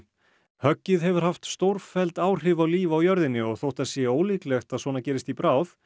höggið hefur haft stórfelld áhrif á líf á jörðinni og þótt það sé ólíklegt að svona gerist í bráð